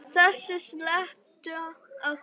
Þessu sleppa þau öllu.